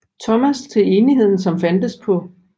Thomas til Enigheden som fandtes på St